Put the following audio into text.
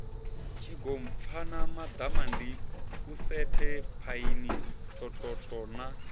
tshigompfana baḓamandiusetshe phaini thothotho na